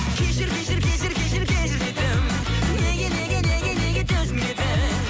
кешір кешір кешір кешір кешір дедім неге неге неге неге түсінбедің